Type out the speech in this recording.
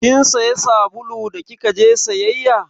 Kin saya sabulu da kika je sayayya?